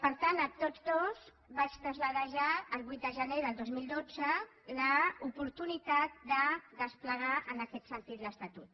per tant a tots dos els vaig traslladar ja el vuit de gener del dos mil dotze l’oportunitat de desplegar en aquest sentit l’estatut